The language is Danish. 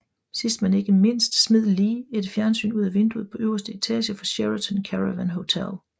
Sidst men ikke mindst smed Lee et fjernsyn ud af vinduet på øverste etage af Sheraton Caravan Hotel